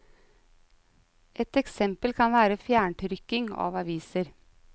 Et eksempel kan være fjerntrykking av aviser.